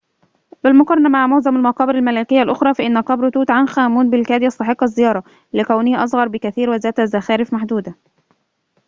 بالمقارنة مع معظم المقابر الملكية الأخرى فإن قبر توت عنخ آمون بالكاد يستحق الزيارة لكونه أصغر بكثير وذات زخارف محدودة